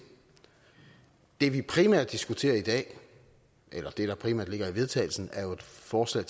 det vi primært diskuterer i dag eller det der primært ligger i vedtagelse er jo et forslag